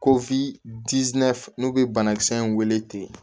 Ko n'u bɛ banakisɛ in wele ten